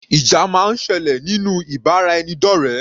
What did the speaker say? Ìjà máa ń sẹlẹ̀ nínú ìbáraẹnidọ́rẹ.